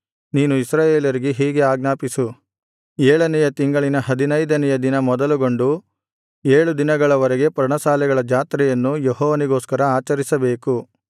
ನೀನು ಇಸ್ರಾಯೇಲರಿಗೆ ಹೀಗೆ ಆಜ್ಞಾಪಿಸು ಏಳನೆಯ ತಿಂಗಳಿನ ಹದಿನೈದನೆಯ ದಿನ ಮೊದಲುಗೊಂಡು ಏಳು ದಿನಗಳ ವರೆಗೆ ಪರ್ಣಶಾಲೆಗಳ ಜಾತ್ರೆಯನ್ನು ಯೆಹೋವನಿಗೋಸ್ಕರ ಆಚರಿಸಬೇಕು